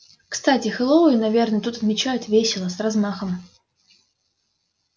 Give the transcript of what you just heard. кстати хэллоуин наверное тут отмечают весело с размахом